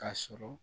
K'a sɔrɔ